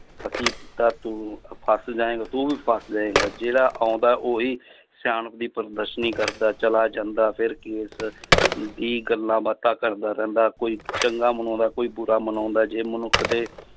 ਤੂੰ ਫਸ ਜਾਏਂਗਾ ਤੂੰ ਵੀ ਫਸ ਜਾਏਂਗਾ, ਜਿਹੜਾ ਆਉਂਦਾ ਉਹੀ ਸਿਆਣਪ ਦੀ ਪ੍ਰਦਰਸ਼ਨੀ ਕਰਦਾ ਚਲਾ ਜਾਂਦਾ ਫਿਰ ਕੇਸ ਦੀ ਗੱਲਾਂ ਬਾਤਾਂ ਕਰਦਾ ਰਹਿੰਦਾ ਕੋਈ ਚੰਗਾ ਮਨਾਉਂਦਾ ਕੋਈ ਬੁਰਾ ਮਨਾਉਂਦਾ ਜੇ ਮਨੁੱਖ ਦੇ